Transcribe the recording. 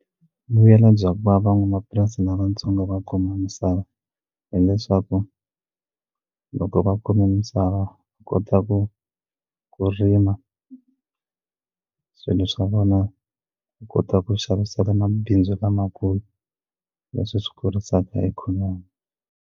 Vuyelo bya ku va van'wamapurasi lavatsongo va kuma misava hileswaku loko va kume misava va kota ku ku rima swilo swa vona ku kota ku xavisela mabindzu lamakulu leswi swi kurisaka ikhonomi.